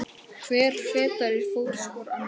Hver fetar í fótspor annars.